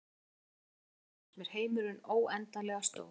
Þegar ég var að leita að þér fannst mér heimurinn óendanlega stór.